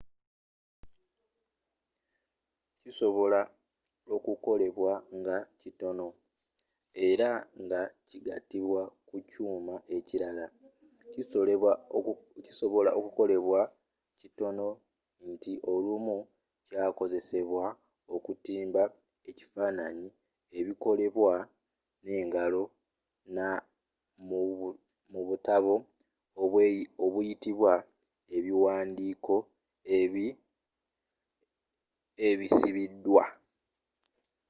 kisobola okukolebwa nga kitono era nga kigatibwa ku kyuma ekirala. kisobola okukolebwa kitono nti olumu kyakozesebwa okutimba ebifaananyi ebikolebwa n'engalo mu butabo obuyitibwa ebiwandiiko ebisibiddwa